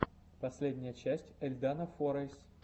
последняя часть эльдана форайс эльдана форайс